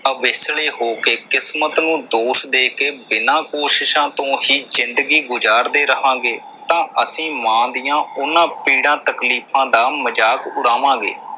ਅਵੇਸਲੇ ਹੋ ਕੇ, ਕਿਸਮਤ ਨੂੰ ਦੋਸ਼ ਦੇ ਕੇ, ਬਿਨਾਂ ਕੋਸ਼ਿਸ਼ਾਂ ਤੋਂ ਹੀ ਜਿੰਦਗੀ ਗੁਜ਼ਾਰਦੇ ਰਹਾਂਗੇ ਤਾਂ ਅਸੀਂ ਮਾਂ ਦੀਆਂ ਉਨ੍ਹਾਂ ਪੀੜਾਂ ਤਕਲੀਫ਼ਾਂ ਦਾ ਮਜ਼ਾਕ ਉਡਾਵਾਂਗੇ।